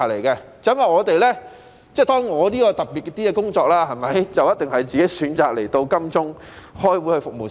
當然，我的工作比較特別，我是自己選擇來金鐘開會服務市民。